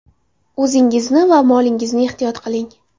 O‘zingizni va molingizni ehtiyot qiling!